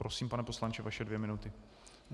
Prosím, pane poslanče, vaše dvě minuty.